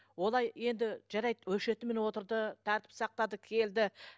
олай енді жарайды өшіретімен отырды тәртіп сақтады келді